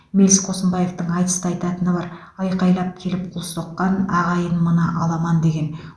мэлс қосынбаевтың айтыста айтатыны бар айқайлап келіп қол соққан ағайын мына аламан деген